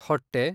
ಹೊಟ್ಟೆ